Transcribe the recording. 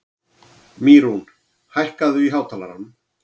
Mýrún, hækkaðu í hátalaranum.